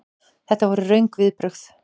Þetta voru röng viðbrögð.